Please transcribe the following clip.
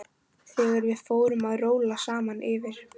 Þegar við fórum að róla saman yfir